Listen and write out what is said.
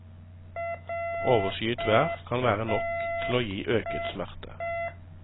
Overskyet vær kan være nok til å gi øket smerte.